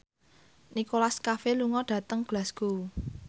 Nicholas Cafe lunga dhateng Glasgow